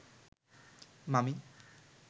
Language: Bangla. মামী